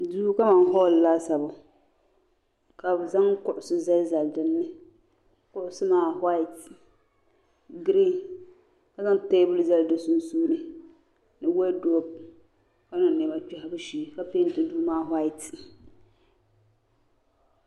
Duu kaman hooli laasabu ka bɛ zaŋ kuɣusi zali zali dinni kuɣusi maa waati girin ka zaŋ teebuli zali di sunsuuni ni wodupu ka niŋ niɛma kpehibu shee ka penti duu maa waati.